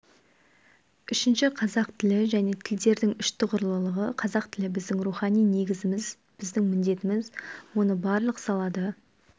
үшінші қазақ тілі және тілдердің үштұғырлылығы қазақ тілі біздің рухани негізіміз біздің міндетіміз оны барлық салада